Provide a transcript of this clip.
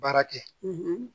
Baara kɛ